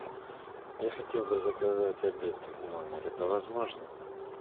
я хотел бы заказать обед в номер это возможно